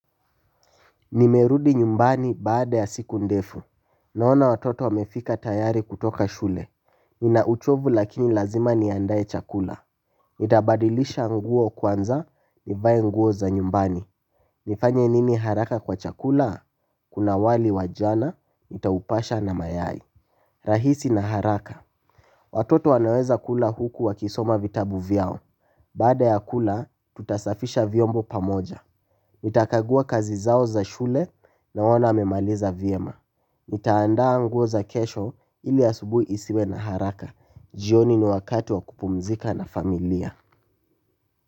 Nimerudi nyumbani baada ya siku ndefu. Naona watoto wamefika tayari kutoka shule. Ninauchovu lakini lazima niandae chakula. Nitabadilisha nguo kwanza nivae nguo za nyumbani. Nifanye nini haraka kwa chakula kuna wali wa jana nitaupasha na mayai. Rahisi na haraka. Watoto wanaweza kula huku wakisoma vitabu vyao. Baada ya kula tutasafisha vyombo pamoja. Nitakagua kazi zao za shule naona amemaliza vyema. Nitaandaa nguo za kesho ili asubui isiwe na haraka. Jioni ni wakati wa kupumzika na familia.